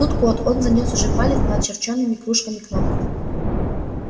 тут код он занёс уже палец над очерченными кружками-кнопками